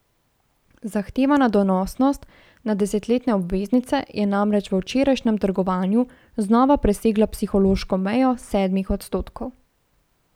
Zahtevana donosnost na desetletne obveznice je namreč v včerajšnjem trgovanju znova presegla psihološko mejo sedmih odstotkov.